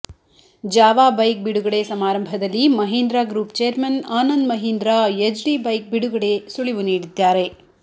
Java bike ಬಿಡುಗಡೆ ಸಮಾರಂಭದಲ್ಲಿ Mahindra group chairmen Anand Mahindra Yezdi bike ಬಿಡುಗಡೆ ಸುಳಿವು ನೀಡಿದ್ದಾರೆ